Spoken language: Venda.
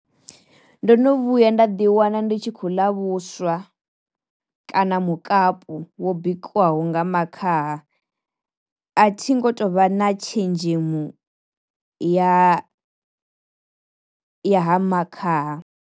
Ndo no vhuya nda ḓi wana ndi tshi khou ḽa vhuswa kana mukapu wo bikwaho nga makhaha, a thi ngo tou vha na tshenzhemu ya ya ha makhaha.